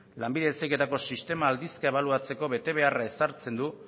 lanbide heziketako sistema aldizka ebaluatzeko betebeharra ezartzen du